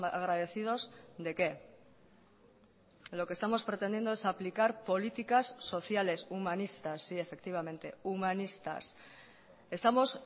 agradecidos de qué lo que estamos pretendiendo es aplicar políticas sociales humanistas sí efectivamente humanistas estamos